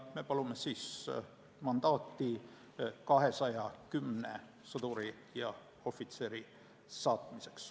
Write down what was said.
Me palume mandaati 210 sõduri ja ohvitseri saatmiseks.